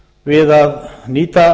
við að nýta